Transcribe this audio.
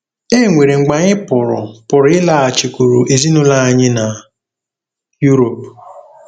E nwere mgbe anyị pụrụ pụrụ ịlaghachikwuru ezinụlọ anyị na Europe.